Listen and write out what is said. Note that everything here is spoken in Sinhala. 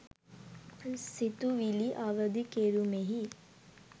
සිතුවිලි අවදි කෙරුමෙහි